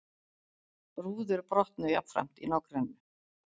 Rúður brotnuðu jafnframt í nágrenninu